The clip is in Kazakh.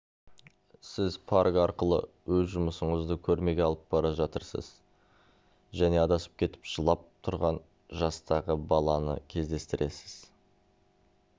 сіз парк арқылы өз жұмысыңызды көрмеге алып бара жатырсыз және адасып кетіп жылап тұрған жастағы баланы кездестіресіз